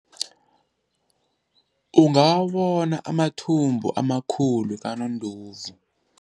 Ungawabona amathumbu amakhulu kanondovu.